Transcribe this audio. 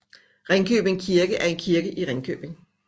Ringkøbing Kirke er en kirke i Ringkøbing